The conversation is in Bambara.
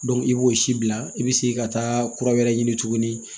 i b'o si bila i bɛ segin ka taa kura wɛrɛ ɲini tuguni